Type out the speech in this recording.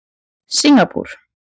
Singapúr